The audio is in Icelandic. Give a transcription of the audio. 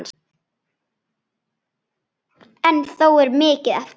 En þó er mikið eftir.